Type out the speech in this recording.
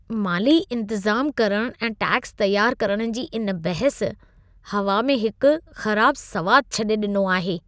माली इंतज़ाम करणु ऐं टैक्स तयार करणु जी इन बहस हवा में हिकु ख़राब सवादु छॾे ॾिनो आहे।